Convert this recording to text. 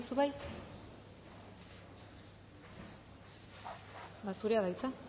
bollain zu bai ba zurea da hitza